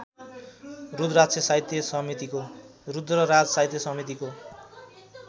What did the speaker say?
रुद्रराज साहित्य समितिको